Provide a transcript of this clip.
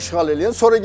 Hə işğal eləyən.